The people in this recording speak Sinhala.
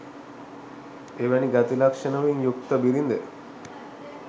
එවැනි ගති ලක්‍ෂණවලින් යුක්ත බිරිඳ